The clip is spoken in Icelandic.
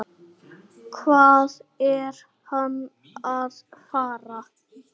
Hvað er hann að fara?